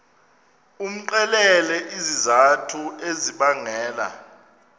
umxelele izizathu ezibangela